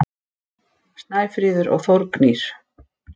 Snæfríður og Þórgnýr.